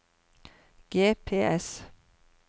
GPS